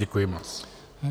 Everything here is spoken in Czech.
Děkuji moc.